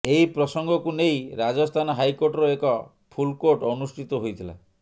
ଏହି ପ୍ରଂସଗକୁ ନେଇ ରାଜସ୍ଥାନ ହାଇକୋର୍ଟର ଏକ ଫୁଲକୋର୍ଟ ଅନୁଷ୍ଠିତ ହୋଇଥିଲା